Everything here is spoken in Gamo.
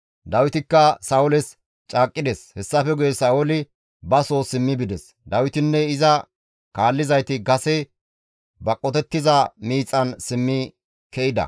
Dawitikka Sa7ooles caaqqides. Hessafe guye Sa7ooli ba soo simmi bides; Dawitinne iza kaallizayti kase ba qotettiza miixan simmi ke7ida.